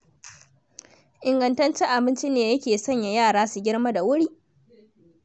Ingantaccen abinci ne yake sanya yara su girma da wuri.